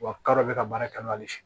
Wa k'a dɔ bɛ ka baara kɛ n'olu si ma